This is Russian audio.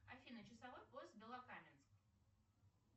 афина часовой пояс белокаменск